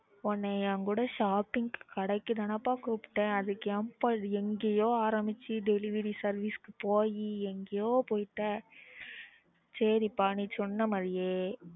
உன்னை என்கூட shopping கடைக்கு தானப்பா கூப்டேன் அதுக்கு ஏன்பா எங்கையோ ஆரம்பிச்சு delivery service க்கு போயி எங்கையோ போயிட்ட சேரிப்பா நீ சொன்ன மாறியே